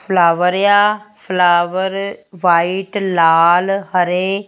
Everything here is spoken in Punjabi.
ਫਲਾਵਰ ਆ ਫਲਾਵਰ ਵ੍ਹਾਈਟ ਲਾਲ ਹਰੇ --